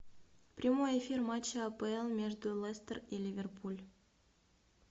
прямой эфир матча апл между лестер и ливерпуль